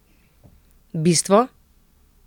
Bistvo?